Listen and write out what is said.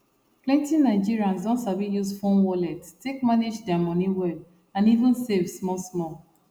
plenty nigerians don sabi use phone wallet take manage their money well and even save small small